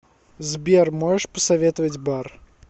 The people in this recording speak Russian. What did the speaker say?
сбер можешь посоветовать бар